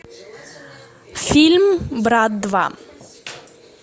фильм брат два